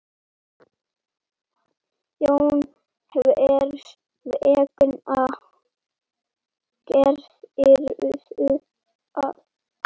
Jóhann: Hvers vegna gerðirðu það?